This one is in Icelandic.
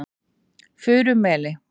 Furumeli